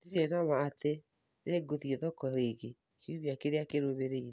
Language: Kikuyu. Ndirĩ na ma atĩ nĩ ngũthiĩ thoko rĩngĩ kiumia kĩrĩa kĩrũmĩrĩire